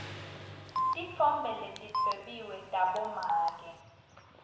titfombe letidwebiwe tabomake